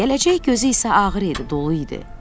Gələcək gözü isə ağır idi, dolu idi.